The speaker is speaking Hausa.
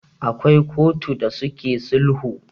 akwai kotu da suke sulhu